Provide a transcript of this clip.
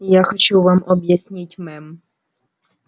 я хочу вам объяснить мэм